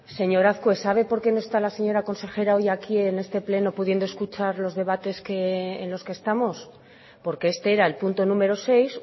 señor azkue sabe por qué no está la señora consejera hoy aquí en este pleno pudiendo escuchar los debates en los que estamos porque este era el punto número seis